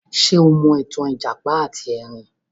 Ṣé o mọ ìtàn ìjàpá ati Ẹrin?